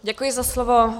Děkuji za slovo.